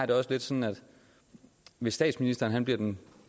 det også lidt sådan at hvis statsministeren bliver den